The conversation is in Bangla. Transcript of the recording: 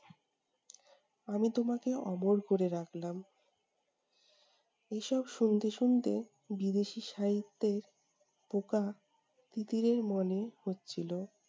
আমি তোমাকে অমর করে রাখলাম। এইসব শুনতে শুনতে বিদেশী সাহিত্যের পোকা তিতিরের মনে হচ্ছিলো